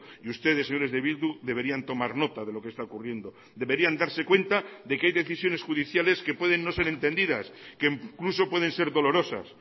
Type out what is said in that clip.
y ustedes señores de bildu deberían tomar nota de lo que está ocurriendo deberían darse cuenta de que hay decisiones judiciales que pueden no ser entendidas que incluso pueden ser dolorosas